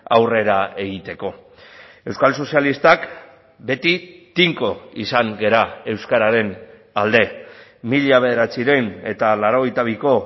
aurrera egiteko euskal sozialistak beti tinko izan gara euskararen alde mila bederatziehun eta laurogeita biko